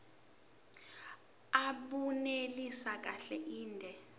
abunelisi kahle inde